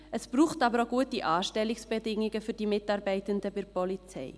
Es braucht aber auch gute Anstellungsbedingungen für die Mitarbeitenden bei der Polizei.